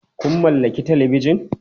Kun mallaki Talabijan?